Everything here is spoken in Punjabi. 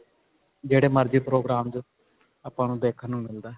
ਜਿਹੜੇ ਮਰਜੀ program 'ਚ ਆਪਾਂ ਨੂੰ ਦੇਖਣ ਨੂੰ ਮਿਲਦਾ ਹੈ.